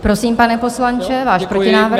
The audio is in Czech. Prosím, pane poslanče, váš protinávrh.